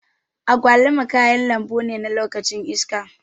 Agwaluma kayan lambune na lokacin iska.